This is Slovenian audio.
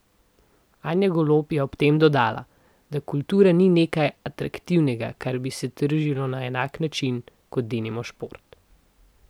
Anja Golob je ob tem dodala, da kultura ni nekaj atraktivnega, kar bi se tržilo na enak način, kot denimo šport.